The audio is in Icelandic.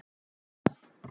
Hjalla